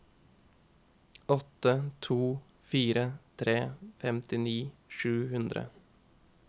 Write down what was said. åtte to fire tre femtini sju hundre